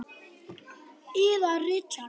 Yðar Richard